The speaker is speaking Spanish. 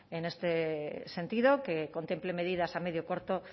en este sentido que contemple medidas a medio corto